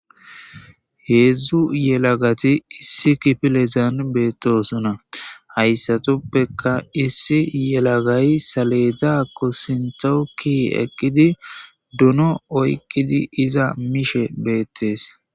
heedzdzu yelagati issi kifilezan beettosunna hayssatuppeka issi yelagay saleedza ko sintoukki eqqidi duno oykkidi iza miishe beettees